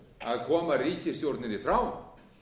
að koma ríkisstjórninni frá